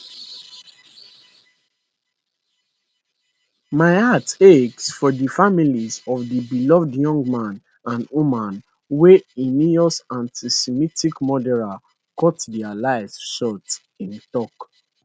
my heart aches for di families of di beloved young man and woman wey heinous antisemitic murderer cut dia lives short im tok